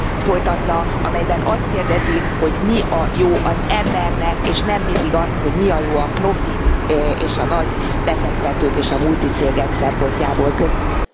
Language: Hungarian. folytatna, amelyben azt kérdezi, hogy mi a jó az embernek, és nem mindig azt, hogy mi a jó a profit, és a nagybefektetők és a multicégek szempontjából. Köszönöm.